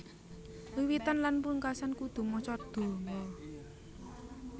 Wiwitan lan pungkasan kudu maca donga